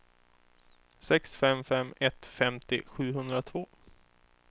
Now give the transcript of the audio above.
sex fem fem ett femtio sjuhundratvå